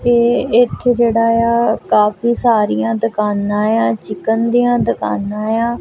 ਏਹ ਏੱਥੇ ਜੇਹੜਾ ਯਾ ਕਾਫੀ ਸਾਰੀਆਂ ਦੁਕਾਨਾਂ ਯਾਂ ਚਿਕਨ ਦਿਆਂ ਦੁਕਾਨਾਂ ਯਾਂ।